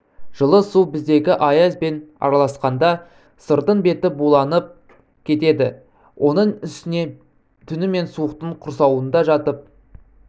жылы су біздегі аязбен араласқанда сырдың беті буланып кетеді оның үстіне түнімен суықтың құрсауында жатып